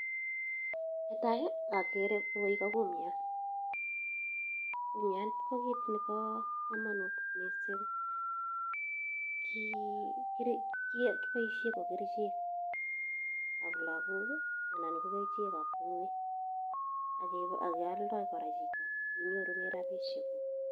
Netai ogere koroi ko kumnyat. Kumnyat ko kit nebo komonut mising. Kiboisien ko kerichek ab lagok, anan ko kerichek ab [] ak kealda kora chito. Kinyorunen rabishek.